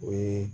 O ye